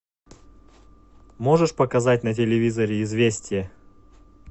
можешь показать на телевизоре известия